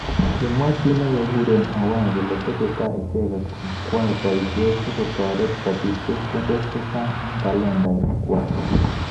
kimwa chi nekekure Owae kole tesetai icheket kwoe boishet sikotoret kobit chepkondok chechang eng talentinik kwak.